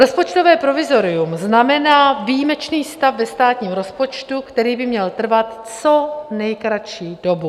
Rozpočtové provizorium znamená výjimečný stav ve státním rozpočtu, který by měl trvat co nejkratší dobu.